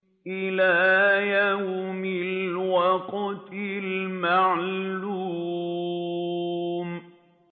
إِلَىٰ يَوْمِ الْوَقْتِ الْمَعْلُومِ